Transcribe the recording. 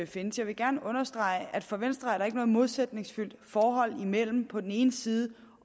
findes jeg vil gerne understrege at for venstre er der ikke noget modsætningsfyldt forhold mellem på den ene side